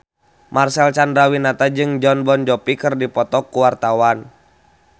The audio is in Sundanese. Marcel Chandrawinata jeung Jon Bon Jovi keur dipoto ku wartawan